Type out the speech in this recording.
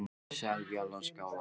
Selfjallaskála